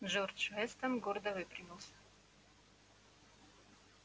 джордж вестон гордо выпрямился